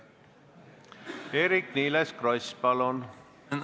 Eerik-Niiles Kross, palun!